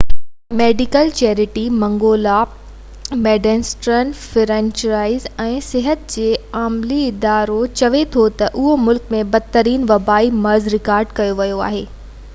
medical charity منگولا Medecins Sans Frontieres ۽ صحت جي عالمي ادارو چئي ٿو تہ اهو ملڪ ۾ بدترين وبائي مرض رڪارڊ ڪيو ويو آهي